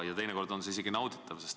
Ja teinekord on see nauditav.